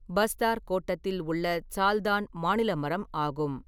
பஸ்தார் கோட்டத்தில் உள்ள சால் தான் மாநில மரம் ஆகும்.